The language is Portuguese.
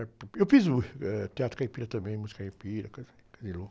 Eh ,, eu fiz teatro caipira também, música caipira, coisa, coisa de louco.